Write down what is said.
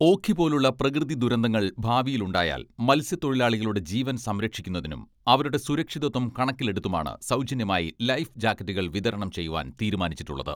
ഓഖി പോലുളള പ്രകൃതി ദുരന്തങ്ങൾ ഭാവിയിൽ ഉണ്ടായാൽ മത്സ്യത്തൊഴിലാളികളുടെ ജീവൻ സംരക്ഷിക്കുന്നതിനും അവരുടെ സുരക്ഷിതത്വം കണക്കിലെടുത്തുമാണ് സൗജന്യമായി ലൈഫ് ജാക്കറ്റുകൾ വിതരണം ചെയ്യുവാൻ തീരുമാനിച്ചിട്ടുളളത്.